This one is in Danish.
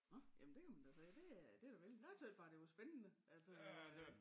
Nå jamen der kan man da se det er det da vældig jeg tøs bare det var spændende altså øh